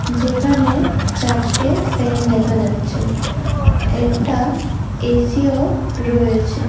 যেখানে চারটে ফ্যান দেখা যাচ্ছে একটা এসিও রয়েছে।